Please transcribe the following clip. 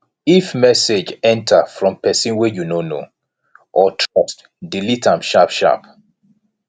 if message enter from person wey you no know or trust delete am sharp sharp